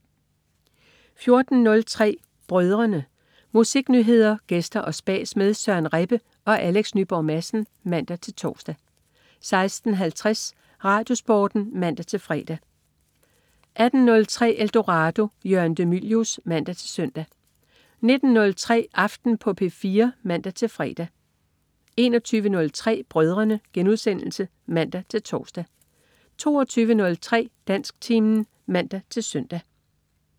14.03 Brødrene. Musiknyheder, gæster og spas med Søren Rebbe og Alex Nyborg Madsen (man-tors) 16.50 RadioSporten (man-fre) 18.03 Eldorado. Jørgen de Mylius (man-søn) 19.03 Aften på P4 (man-fre) 21.03 Brødrene* (man-tors) 22.03 Dansktimen (man-søn)